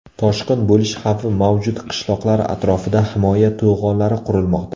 Toshqin bo‘lish xavfi mavjud qishloqlar atrofida himoya to‘g‘onlari qurilmoqda.